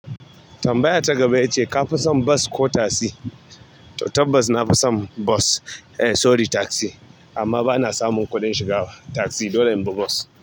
Tambaya ta gaba ita ce, ka fi son bas ko tasi? Tabbas na fi son bas, eh sorry tasi amma ba na samun kuɗin shiga tasi dole in bi bas.